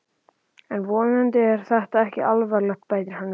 En vonandi er þetta ekki alvarlegt bætti hann við.